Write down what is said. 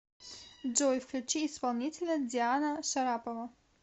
джой включи исполнителя диана шарапова